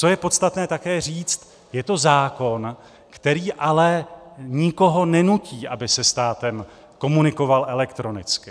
Co je podstatné také říct, je to zákon, který ale nikoho nenutí, aby se státem komunikoval elektronicky.